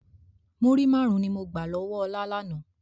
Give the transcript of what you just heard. Múrí máarun ni mo gbà lọ́wọ́ ọ̀la lànà.